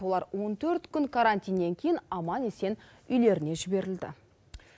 олар он төрт күн карантиннен кейін аман есен үйлеріне жіберілді